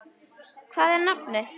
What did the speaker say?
Hvað er nafnið?